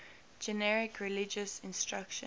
generic religious instruction